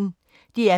DR P1